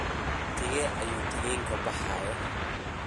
haye wakhtigee ayuu tareenku baxayaa